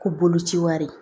Ko boloci wari